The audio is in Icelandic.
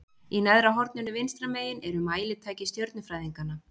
í neðra horninu vinstra megin eru mælitæki stjörnufræðinganna